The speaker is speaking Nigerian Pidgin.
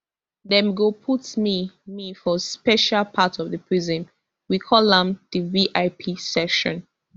dem go put me me for special part of di prison we call am di vip section